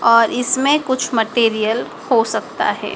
और इसमें कुछ मटेरियल हो सकता है।